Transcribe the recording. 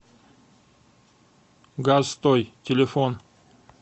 гастой телефон